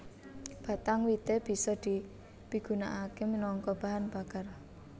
Batang wité bisa dipigunakaké minangka bahan bakar